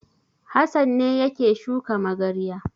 Hassan ne yake shuka magarya.